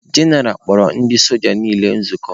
General kpọrọ ndị soja niile nzukọ.